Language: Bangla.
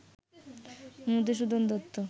মধুসূদন দত্ত